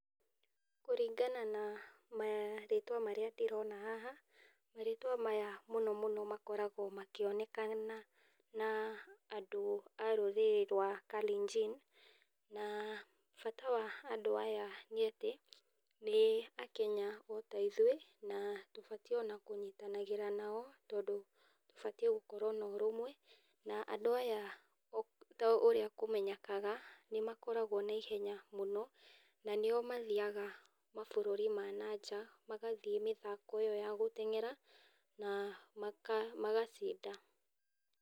Kũringana na marĩtwa marĩa ndĩrona haha, marĩtwa maya mũno mũno makoragwo makĩonekana na andũ a rũrĩrĩ rwa Kalenjin, na bata wa andũ aya nĩ Akenya ota ithuĩ na tũbatie ona kũnyitanagĩta nao tondũ tũbatie gũkorwo na ũrũmwe na andũ aya ta ũrĩa kũmenyekaga nĩ makoragwo na ihenya mũno, na nĩo mathiaga mabũrũri ma nanja magathĩĩ mĩthako ĩyo ya gũteng'era na magacinda.